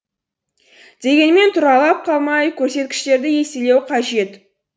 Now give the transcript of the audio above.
дегенмен тұралап қалмай көрсеткіштерді еселеу қажет